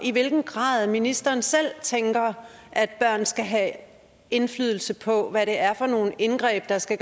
i hvilken grad ministeren selv tænker at børn skal have indflydelse på hvad det er for nogle indgreb der skal